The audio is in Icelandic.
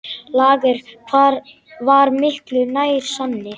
Lager var miklu nær sanni.